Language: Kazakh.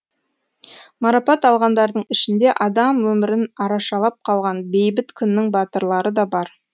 марапат алғандардың ішінде адам өмірін арашалап қалған бейбіт күннің батырлары да бар